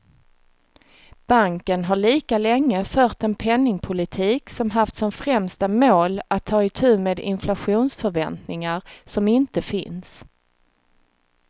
Banken har lika länge fört en penningpolitik som haft som främsta mål att ta itu med inflationsförväntningar som inte finns.